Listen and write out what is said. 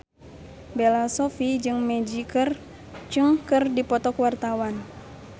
Bella Shofie jeung Maggie Cheung keur dipoto ku wartawan